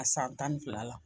A san tan ni fila la